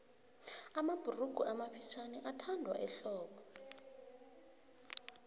mabhurugu amafutjhaniathandwa ehlobo